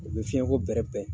U bɛ fiɲɛko bɛrɛ bɛn.